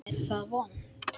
Er það vont?